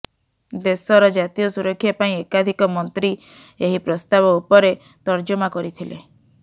ଦେଶର ଜାତୀୟ ସୁରକ୍ଷା ପାଇଁ ଏକାଧିକ ମନ୍ତ୍ରୀ ଏହି ପ୍ରସ୍ତାବ ଉପରେ ତର୍ଜମା କରିଥିଲେ